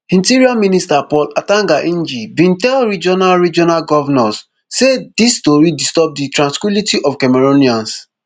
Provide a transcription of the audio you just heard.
interior minister paul atanga nji bin tell regional regional govnors say dis stories disturb di tranquillity of cameroonians